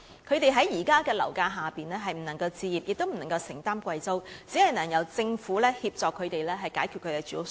他們在目前的樓價下既無法置業，亦無法承擔昂貴的租金，只能夠由政府協助他們解決住屋需要。